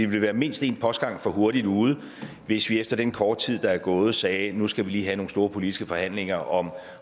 vil være mindst en postgang for hurtigt ude hvis vi efter den korte tid der er gået siger at nu skal vi lige have nogle store politiske forhandlinger om